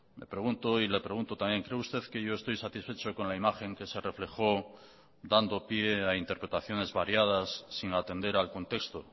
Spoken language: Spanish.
me pregunto y le pregunto también cree usted que yo estoy satisfecho con la imagen que se reflejó dando pie a interpretaciones variadas sin atender al contexto